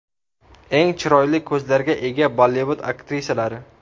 Eng chiroyli ko‘zlarga ega Bollivud aktrisalari .